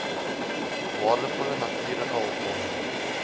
waardevolle natuurlike hulpbronne